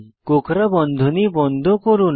কোঁকড়া বন্ধনী বন্ধ করুন